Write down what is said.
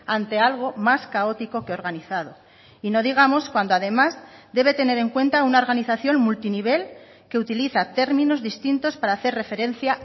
ante algo más caótico que organizado y no digamos cuando además debe tener en cuenta una organización multinivel que utiliza términos distintos para hacer referencia